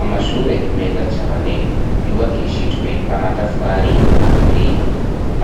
Amashure meza cane yubakishijwe amatafari aturiye